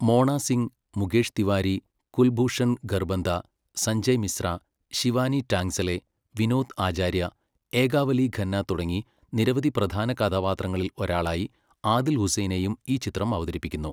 മോണ സിംഗ്, മുകേഷ് തിവാരി, കുൽഭൂഷൺ ഖർബന്ദ, സഞ്ജയ് മിശ്ര, ശിവാനി ടാങ്ക്സലെ, വിനോദ് ആചാര്യ, ഏകാവലി ഖന്ന തുടങ്ങി നിരവധി പ്രധാന കഥാപാത്രങ്ങളിൽ ഒരാളായി ആദിൽ ഹുസൈനേയും ഈ ചിത്രം അവതരിപ്പിക്കുന്നു.